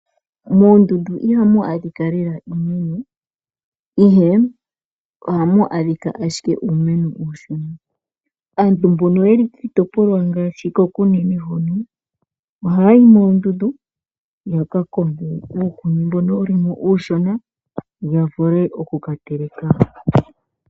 Moondundu ihamu adhika lela iimeno, ndele ohamu adhika ashike uumeno uushona. Aantu mbono yeli kiitopolwa yaKunene ohaya yi noondundu yaka konge uukuni mbono uushona yavule okukateleka.